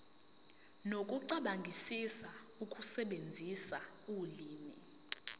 nokucabangisisa ukusebenzisa ulimi